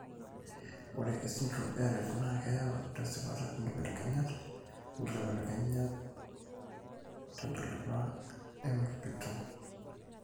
ore esindirom eRett naa keyau tesipata inkibelekenyat (inkibelekenyat) tentalipa eMECP2.